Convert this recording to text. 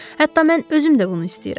Hətta mən özüm də bunu istəyirəm.